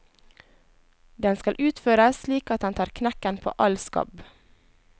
Den skal utføres slik at den tar knekken på all skabb.